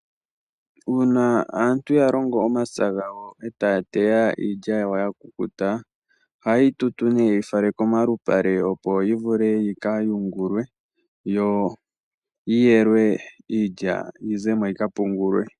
Uuna aantu ya longo omapya gawo eta ya teya iilya yawo ya kukuta. Ohaye yi tutu nee ye yi fale komalupale opo yi kayungulwe yo yi yelwe Iilya yi zemo yika pungulwa.